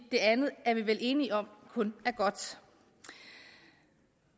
det andet er vi vel enige om kun er godt det